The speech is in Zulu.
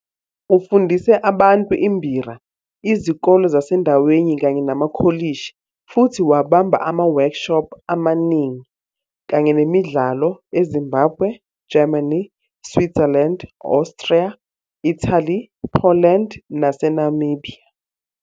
Ufundise abantu imbira, izikole zasendaweni kanye namakolishi futhi wabamba ama-workshops amaningi kanye nemidlalo eZimbabwe, Germany, Switzerland, Austria, Italy, Poland naseNamibia.